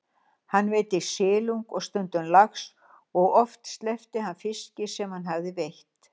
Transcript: Hann veiddi silung og stundum lax og oft sleppti hann fiski sem hann hafði veitt.